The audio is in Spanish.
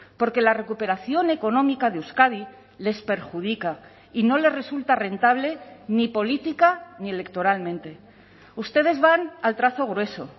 porque la recuperación económica de euskadi les perjudica y no les resulta rentable ni política ni electoralmente ustedes van al trazo grueso